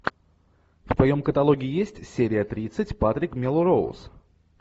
в твоем каталоге есть серия тридцать патрик мелроуз